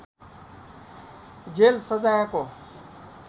jail सजायको